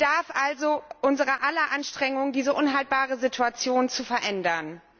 Es bedarf also unser aller Anstrengung, diese unhaltbare Situation zu verändern.